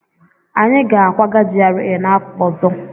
Anyị ga-akwaga GRA n'afọ ọzọ